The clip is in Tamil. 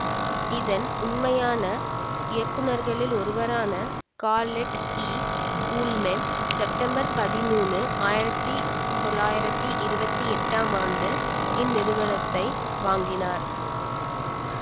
இதன் உண்மையான இயக்குநர்களில் ஒருவரான கால்லெட் ஈ ஊல்மேன் செப்டம்பர் பதிமூனு ஆயிரத்தி தொள்ளாயிரத்தி இருவத்தி எட்டாம் ஆண்டு இந்நிறுவனத்தினை வாங்கினார்